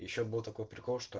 ещё был такой прикол что